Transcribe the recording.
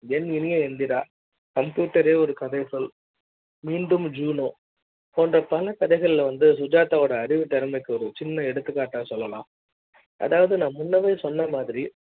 என் இனிய எந்திரா computer ஒரு கதை சொல் மீண்டும் ஜீனோ போன்ற பல கதைகள் வந்து சுஜாதா வோட அறிவு திறமை க்கு ஒரு சின்ன எடுத்துக்காட்டு சொல்லலாம் நான் முன்னமே சொன்ன மாதிரி